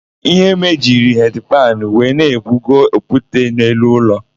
Iheme jiri hedi panụ wee na-ebugo okwute n'elu ụlọ.